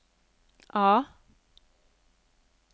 A